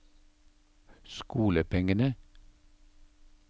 skolepengene